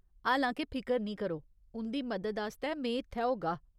हालां के फिकर निं करो, उं'दी मदद आस्तै में इत्थै होगा।